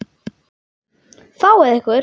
Fáið ykkur.